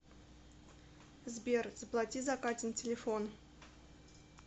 сбер заплати за катин телефон